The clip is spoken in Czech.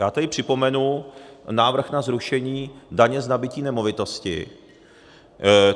Já tady připomenu návrh na zrušení daně z nabytí nemovitosti.